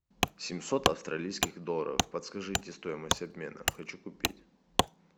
семьсот австралийских долларов подскажите стоимость обмена хочу купить